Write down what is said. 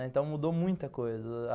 Então mudou muita coisa.